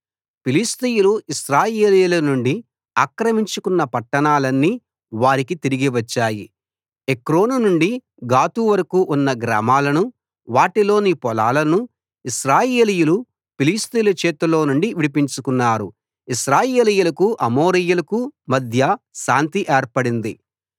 ఫిలిష్తీయులు ఇశ్రాయేలీయుల నుండి ఆక్రమించుకొన్న పట్టణాలన్నీ వారికి తిరిగి వచ్చాయి ఎక్రోను నుండి గాతు వరకూ ఉన్న గ్రామాలనూ వాటిలోని పొలాలనూ ఇశ్రాయేలీయులు ఫిలిష్తీయుల చేతిలో నుండి విడిపించుకున్నారు ఇశ్రాయేలీయులకు అమోరీయులకు మధ్య శాంతి ఏర్పడింది